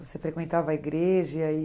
Você frequentava a igreja?